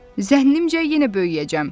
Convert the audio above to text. Zənnimcə yenə böyüyəcəm.